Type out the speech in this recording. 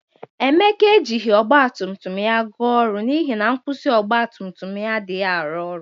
Emeka e jighi ọgbatumtum ya ga ọrụ n'ihi na nkwusi ọgbatumtum ya adaghi arụ ọrụ